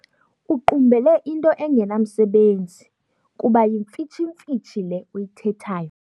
Uqumbele into engenamsebenzi kuba yimfitshimfitshi le uyithethayo.